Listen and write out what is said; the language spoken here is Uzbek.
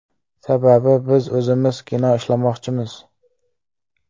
Sababi, biz o‘zimiz kino ishlamoqchimiz.